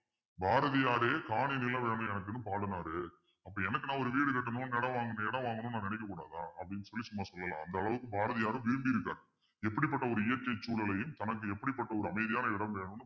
பாரதியாரே காணி நிலம் வேணும் எனக்குன்னு பாடுனாரு அப்ப எனக்கு ஒரு வீடு கட்டணும் இடம் வாங்கணும் இடம் வாங்கணும்ன்னு நான் நினைக்கக்கூடாதா அப்பிடின்னு சொல்லி சும்மா சொல்லலாம் அந்த அளவுக்கு பாரதியாரும் வேண்டி இருக்காரு எப்படிப்பட்ட ஒரு இயற்கை சூழலையும் தனக்கு எப்படிப்பட்ட ஒரு அமைதியான இடம் வேணும்ன்னு